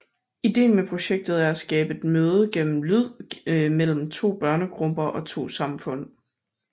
Ideen med projektet er at skabe et møde gennem lyd mellem to børnegrupper og to samfund